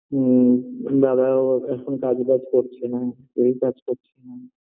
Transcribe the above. হুম বাবাও এখন কাজবাজ করছে না কেউ কাজ করছে না